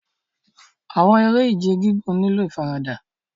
Awọn ere-ije gigun nilo ifarada